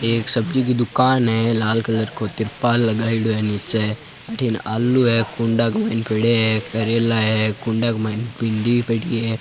एक सब्जी की दुकान है लाल कलर को तिरपाल लगायेडो है नीचे अट्ठिन आलू है कुंडा क माईन पड्या है करेला है कुंडा क माईन भिन्डी भी पड़ी है।